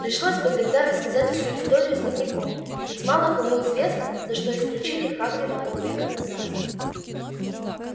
пришлось бы тогда рассказать всю историю с дневником ведь мало кому известно за что исключили хагрида полвека назад